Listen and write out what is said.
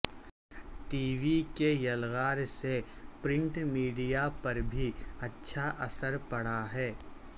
T V کی یلغار سے پرنٹ میڈیا پر بھی اچھا اثر پڑا ہے